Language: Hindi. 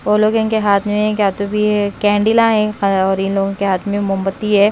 वो लोग इनके हाथ में क्या तो भी कैंडिला है और इन लोगों के हाथ में मोमबत्ती है।